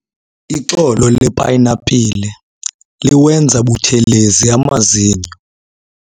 Ixolo lepayinapile liwenza buthelezi amazinyo.